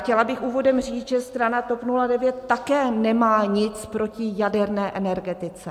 Chtěla bych úvodem říct, že strana TOP 09 také nemá nic proti jaderné energetice.